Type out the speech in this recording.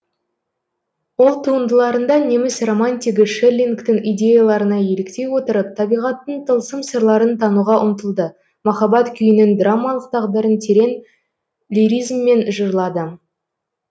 ол туындыларында неміс романтигі шеллингтің идеяларына еліктей отырып табиғаттың тылсым сырларын тануға ұмтылды махаббат күйінің драмалық тағдырын терең лиризммен жырлады